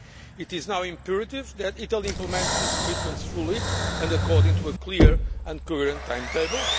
It is now imperative that Italy implement these commitments fully, and according to a clear and coherent timetable.